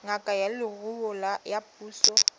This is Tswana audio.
ngaka ya leruo ya puso